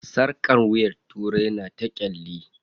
Sarƙar wuyan turai na ta ƙyalli.